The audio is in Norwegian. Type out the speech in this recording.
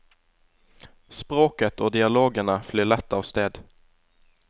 Språket og dialogene flyr lett av sted.